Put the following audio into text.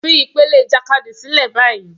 Fi ìpele ìjàkadì sílẹ̀ báyìí